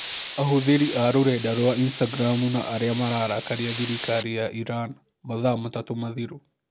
Ahũthĩri a rũrenda rwa Instagramu na arĩa mararakaria thirikari ya Iran mathaa matatũ mathiru